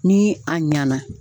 Ni a ɲɛna.